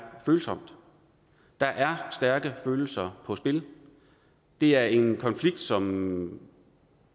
følsomt der er stærke følelser på spil det er en konflikt som